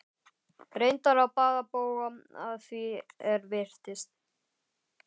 Reyndar á báða bóga að því er virtist.